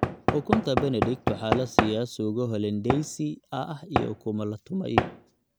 Ukunta Benedict waxaa la siiyaa suugo hollandaise ah iyo ukumo la tumay.